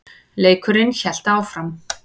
Leikurinn hélt áfram.